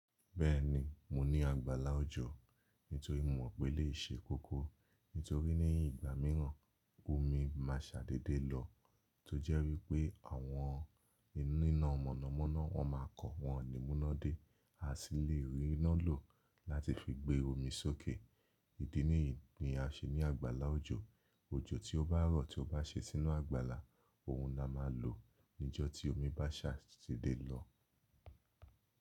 Bẹ́ẹ̀ni, mo ní àgbàlá òjò nítorí mo mọ̀ pé eleyii ṣe kokoó nítorí ní ìgbà mìíràn omi má a ṣàdédé lọ, tó jẹ́ wípé àwọn oni iná mọ̀nàmọ́ná wọ́n má a kọ wọ́n ní mú iná dé, a sì le rí iná lò láti fi gbé omi sókè. Ídì nìyí ni a ṣe ní àgbàlá òjò. Òjò tí ó bá rọ̀ tí ó bá ṣe sínú àgbàlá, òun la má a lò níjọ́ tí omi bá ṣàdédé lọ.